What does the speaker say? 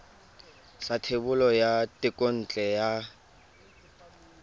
sa thebolo ya thekontle ya